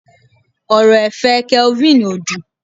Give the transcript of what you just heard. ọrọ ẹ̀fẹ̀ kelvin o dün